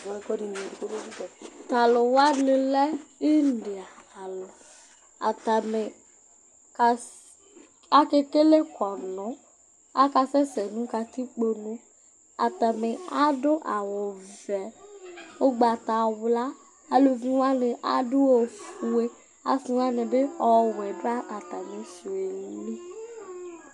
Tʋ alʋ wanɩ lɛ india alʋ Atanɩ kas akekele kɔnʋ Akasɛsɛ nʋ katikpone Atanɩ adʋ awʋvɛ, ʋgbatawla, aluvi wanɩ adʋ ofue, asɩ wanɩ bɩ ɔwɛ dʋ atamɩ sʋ yɛ li